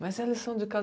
Mas e a lição de casa?